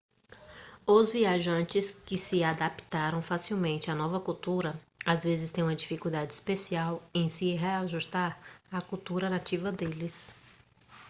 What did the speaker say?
os viajantes que se adaptaram facilmente à nova cultura às vezes têm uma dificuldade especial em se reajustar à cultura nativa deles